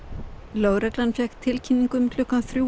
lögregla fékk tilkynningu um klukkan þrjú